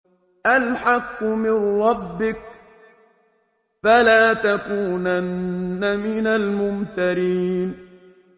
الْحَقُّ مِن رَّبِّكَ ۖ فَلَا تَكُونَنَّ مِنَ الْمُمْتَرِينَ